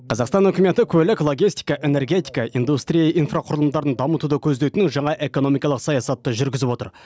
қазақстан үкіметі көлік логистика энергетика индустрия инфрақұрылымдарын дамытуды көздейтін жаңа экономикалық саясатты жүргізіп отыр